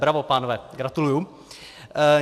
Bravo, pánové, gratuluji.